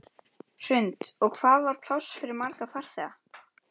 Hrund: Og hvað var pláss fyrir marga farþega?